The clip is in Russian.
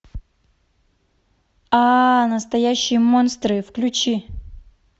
настоящие монстры включи